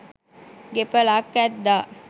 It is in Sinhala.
ගෙපලක් ඇද්දා